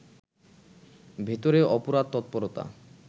ভেতরে অপরাধ তৎপরতা